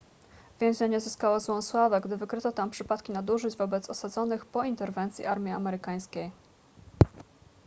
więzienie zyskało złą sławę gdy wykryto tam przypadki nadużyć wobec osadzonych po interwencji armii amerykańskiej